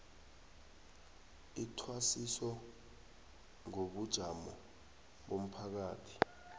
ithwasiso ngobujamo bomphakathi